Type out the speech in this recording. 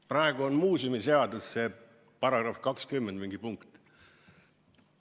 Praegu on muuseumiseaduse § 20 mingi lõige.